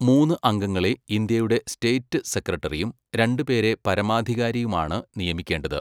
മൂന്ന് അംഗങ്ങളെ ഇന്ത്യയുടെ സ്റ്റേറ്റ് സെക്രട്ടറിയും രണ്ട് പേരെ പരമാധികാരിയുമാണ് നിയമിക്കേണ്ടത്.